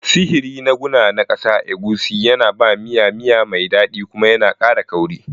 Sihiri na guna na ƙasa, egusi, yana ba miya miya mai daɗi kuma yana ƙara kauri.